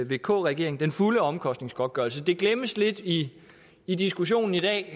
vk regeringen den fulde omkostningsgodtgørelse det glemmes lidt i i diskussionen i dag